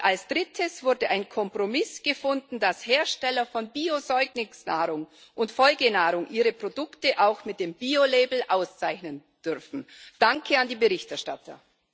Und als Drittes wurde ein Kompromiss gefunden, dass Hersteller von Bio Säuglingsnahrung und Folgenahrung ihre Produkte auch mit dem Biolabel auszeichnen dürfen. Danke an die Berichterstatter!